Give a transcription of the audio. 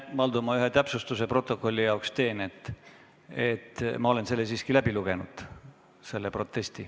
Valdo, ma teen protokolli jaoks ühe täpsustuse: ma olen selle protesti siiski läbi lugenud.